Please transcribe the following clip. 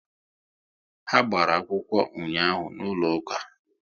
Ha gbara akwụkwọ ụnyaahụ n'ụlọ ụka